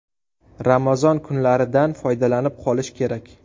Ramazon kunlaridan foydalanib qolish kerak.